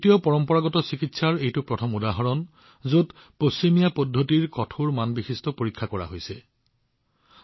পাশ্চাত্য পদ্ধতিৰ কঠোৰ মানদণ্ডৰ তুলনাত ভাৰতীয় পৰম্পৰাগত ঔষধ পৰীক্ষা কৰাৰ এইটো প্ৰথম উদাহৰণ